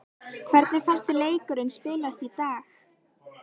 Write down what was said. Hvernig fannst þér leikurinn spilast í dag?